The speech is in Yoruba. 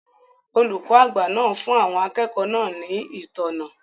Olùkọ́ àgbà náà fún àwọn akẹ́kọ̀ọ́ náà ní ìtọ́nà